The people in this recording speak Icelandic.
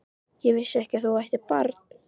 Ég vissi ekki að þú ættir barn?